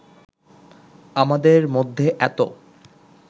আমাদের মধ্যে এতো